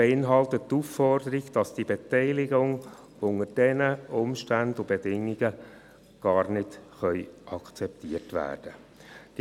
Sie beinhaltet die Aufforderung, dass die Beteiligungen unter diesen Umständen und Bedingungen nicht akzeptiert werden können.